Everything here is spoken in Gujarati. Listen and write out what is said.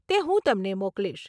તે હું તમને મોકલીશ.